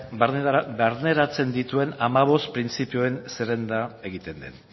barneratzen dituen hamabost printzipioen zerrenda egiten den